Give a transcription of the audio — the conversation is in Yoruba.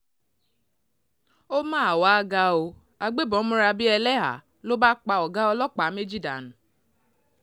ó mà wàá ga ọ́ agbébọn múra bíi ẹlẹ́hàá ló bá pa ọ̀gá ọlọ́pàá méjì dànù